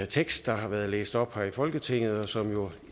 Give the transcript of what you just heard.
tekst der har været læst op her i folketinget og som jo